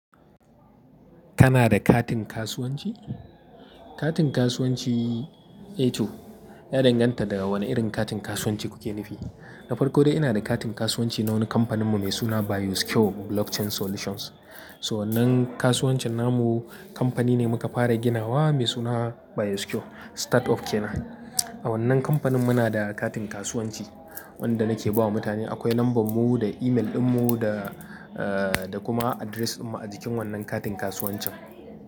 Kana da katin kasuwanci? Katin kasuwanci, eh to, ya danganta daga wane irin katin kasuwanci kuke nufi. Na farko dai ina da katin kasuwanci na wani kamfaninmu mai suna Bioscure Blockchain Solutions. So wannan kasuwancin namu kamfani ne muka fara ginawa mai suna Bioscure Startup kenan. A wannan kamfanin muna da katin kasuwanci wanda nake bawa mutane. Akwai lambar mu da email dinmu da kuma address dinmu a jikin wannan katin kasuwancin.